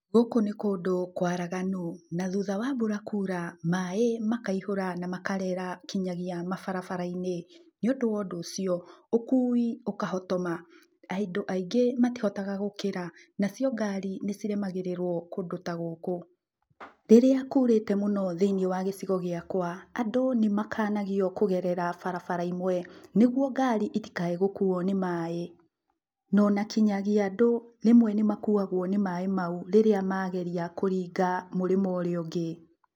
Gũkũ nĩ kũndũ kwaraganu na thutha wa mbura kuura maĩ makaiyũra na makarera nginyagia mabarabara-inĩ nĩ ũndũ wa ũndũ ũcio ũkui ũkahotoma, andũ aingĩ matihotaga gũkĩra nacio ngari nĩ ciremagĩrĩrwo kũndũ ta gũkũ, rĩrĩa kurĩte mũno thĩinĩ wa gĩcigo gĩakwa andũ nĩ makanagio kũgerera barabara imwe nĩguo ngari itikae gũkuo nĩ maĩ, no nakinyagia andũ rĩmwe nĩ makuagwo nĩ maĩ mau, rĩrĩa mageria kũringa mũrĩmũ ũrĩa ũngĩ.